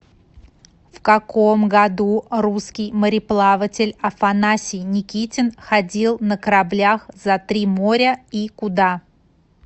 в каком году русский мореплаватель афанасий никитин ходил на кораблях за три моря и куда